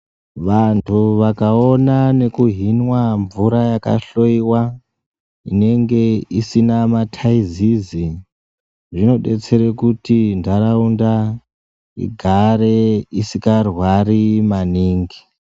Vandu vakaona nekuhinwa mvura yakahloiwa inenge isina mataizezi zvinobetsera maningi kuti ndaraunda igare isingarwari maningi.